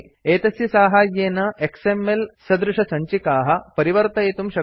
एतस्य साहाय्येन एक्सएमएल सदृशसञ्चिकाः परिवर्तयितुं शक्नुमः